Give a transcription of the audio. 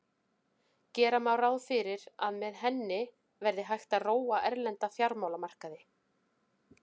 Gera má ráð fyrir að með henni verði hægt að róa erlenda fjármálamarkaði.